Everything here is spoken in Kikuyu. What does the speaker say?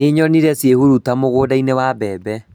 Nĩnyonire ciĩhuruta mũgũnda-inĩ wa mbembe